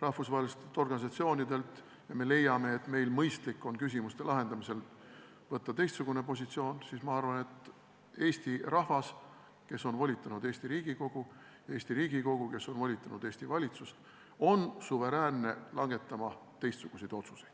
rahvusvaheliste organisatsioonide soovituste arvestamist ja me leiame, et meil on mõistlik küsimuste lahendamisel võtta teistsugune positsioon, siis ma arvan, et Eesti rahvas, kes on andnud volitused Eesti Riigikogule, ja Eesti Riigikogu, kes on andnud volitused Eesti valitsusele, on suveräänne langetama teistsuguseid otsuseid.